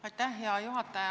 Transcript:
Aitäh, hea juhataja!